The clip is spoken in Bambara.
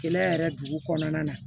Kɛnɛya yɛrɛ dugu kɔnɔna na